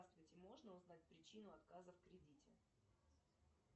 здравствуйте можно узнать причину отказа в кредите